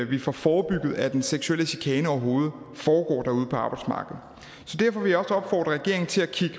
vi får forebygget at den seksuelle chikane overhovedet foregår ude på arbejdsmarkedet så derfor vil jeg også opfordre regeringen til at kigge